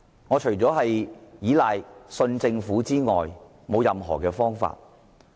我們除了倚賴和相信政府之外，似乎已沒有其他方法。